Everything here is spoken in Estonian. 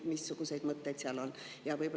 Missugused mõtted selle kohta on?